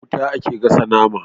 Da wuta ake gasa nama